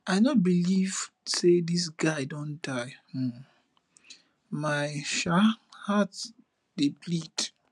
i no believe say this guy don die um my um heart dey bleed